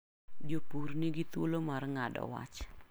Jopur ni gi thuolo mar ng'ado wach.